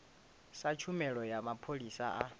sa tshumelo ya mapholisa a